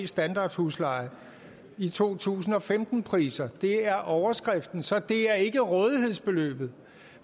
standardhusleje i to tusind og femten priser det er overskriften så det er ikke rådighedsbeløbet